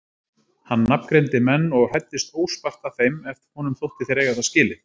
Hann nafngreindi menn og hæddist óspart að þeim ef honum þótti þeir eiga það skilið.